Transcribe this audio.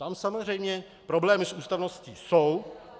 Tam samozřejmě problémy s ústavností jsou.